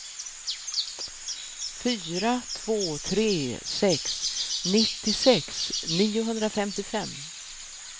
fyra två tre sex nittiosex niohundrafemtiofem